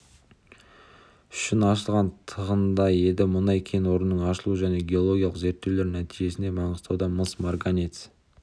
үшін ашылған тығынындай еді мұнай кен орнының ашылуы және геологиялық зерттеулер нәтижесінде маңғыстаудан мыс марганец